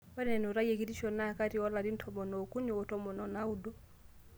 Ore enutai ekitisho na kati oo larin tomon ookuni oo tomon o naudo